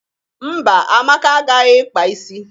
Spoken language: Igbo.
Mba, Amaka agaghị ịkpa isi.